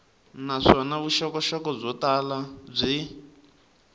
naswona vuxokoxoko byo tala byi